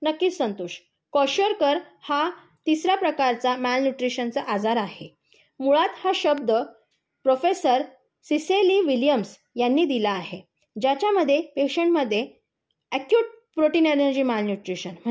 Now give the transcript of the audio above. नक्कीच संतोष. क्वोशारकर हा तिसरा प्रकारचा माल न्यूट्रिशनचा आजार आहे. मुळात हा शब्द प्रेफेसर सीसेली विल्यम्स यांनी दिला आहे. ज्याच्यामध्ये पेशंटमध्ये अकयूट प्रोटीन एनेरजी माल न्यूट्रिशन